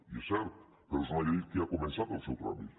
i és cert però és una llei que ja ha començat el seu tràmit